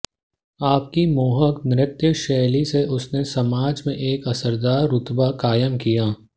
अपनी मोहक नृत्यशैली से उसने समाज में एक असरदार रुतबा कायम किया